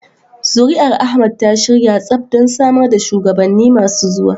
Zuri'ar Ahmad ta shirya tsaf don samar da shugabanni masu zuwa.